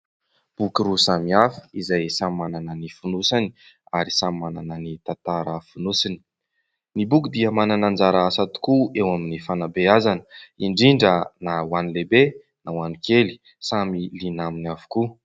Boky roa samy hafa, izay samy manana ny fonony ary samy manana ny tantara fonosany; ny boky dia manana anjara asa tokoa eo amin'ny fanabeazana, indrindra na ho an' ny lehibe na ho an'ny kely, samy liana aminy avokoa.